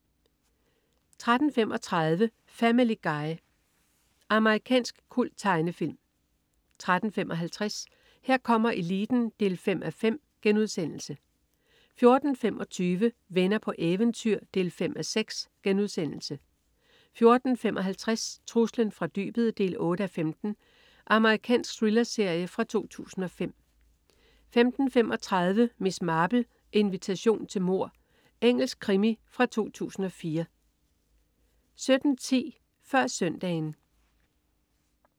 13.35 Family Guy. Amerikansk kulttegnefilm 13.55 Her kommer eliten 5:5* 14.25 Venner på eventyr 5:6* 14.55 Truslen fra dybet 8:15. Amerikansk thrillerserie fra 2005 15.35 Miss Marple: Invitation til mord. Engelsk krimi fra 2004 17.10 Før Søndagen